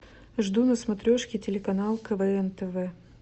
жду на смотрешке телеканал квн тв